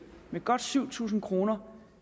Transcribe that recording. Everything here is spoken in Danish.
med godt syv tusind kroner